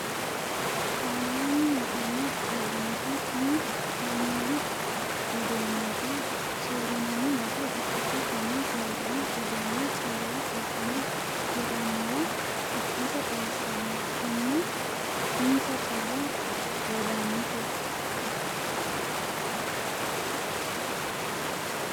Saneem yittano uurrinsha tini kaameelu uduunubba soori'nanni base ikkite tene siwiilu uduune calla abbine hiraniwa ikkase xawisano kone insa calla worranite.